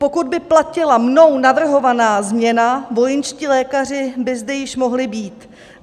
Pokud by platila mnou navrhovaná změna, vojenští lékaři by zde již mohli být.